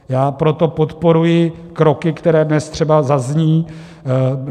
Já proto podporuji kroky, které dnes třeba zazní.